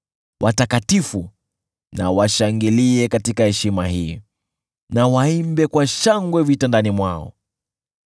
Watakatifu washangilie katika heshima hii, na waimbe kwa shangwe vitandani mwao.